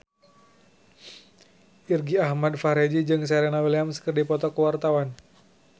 Irgi Ahmad Fahrezi jeung Serena Williams keur dipoto ku wartawan